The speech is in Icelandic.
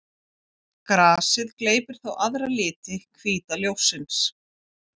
Grasið gleypir þá aðra liti hvíta ljóssins.